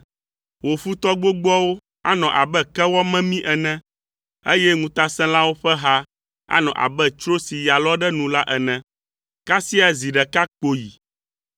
Wò futɔ gbogboawo anɔ abe kewɔ memi ene, eye ŋutasẽlawo ƒe ha anɔ abe tsro si ya lɔ ɖe nu la ene; kasia zi ɖeka kpoyi,